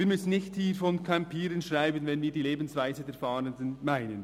Wir müssen hier nicht von «campieren» schreiben, wenn wir die Lebensweise der Fahrenden meinen.